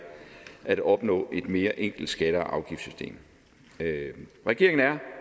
at opnå et mere enkelt skatte og afgiftssystem regeringen er